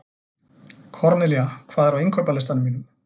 Kornelía, hvað er á innkaupalistanum mínum?